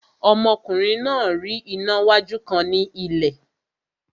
Ọmọkùnrin náà rí iná wájú kan ní ilẹ̀